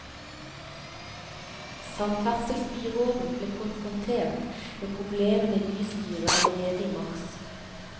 Samferdselsbyråden ble konfrontert med problemene i bystyret allerede i mars.